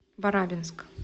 барабинск